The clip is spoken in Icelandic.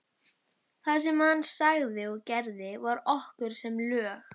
Það sem hann sagði og gerði var okkur sem lög.